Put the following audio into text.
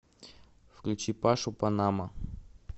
включи пашу панамо